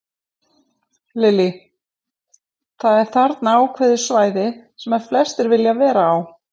Lillý: Það er þarna ákveðið svæði sem að flestir vilja vera á?